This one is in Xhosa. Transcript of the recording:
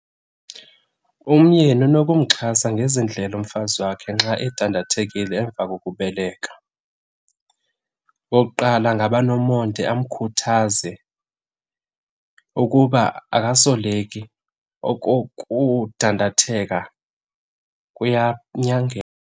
Umyeni unokumxhasa ngezi ndlela umfazi wakhe nxa edandathekile emva kokubeleka. Okokuqala angaba nomonde, amkhuthaze ukuba akasoleki, oko kudandatheka .